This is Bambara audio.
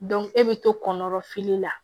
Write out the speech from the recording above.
e bɛ to kɔnɔrɔ la